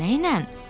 Amma nə ilə?